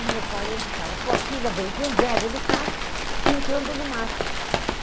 O meu pai entra e fala, sua filha vem com o velho no carro, entrando no mato.